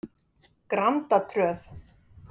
Grandatröð